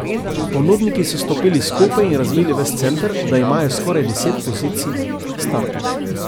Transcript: Ponudniki so stopili skupaj in razvili ves center, da imajo skoraj deset pozicij startov.